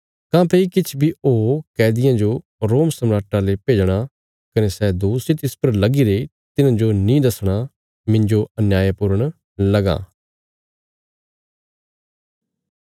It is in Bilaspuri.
काँह्भई किछ बी ओ कैदिये जो रोम सम्राटा ले भेजणा कने सै दोष जे तिस परा लगीरे तिन्हांजो नीं दसणा मिन्जो अन्याय पूर्ण लगां